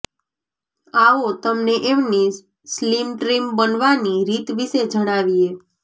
આવો તમને એમની સ્લીમ ટ્રીમ બનવાની રીત વિષે જણાવીએ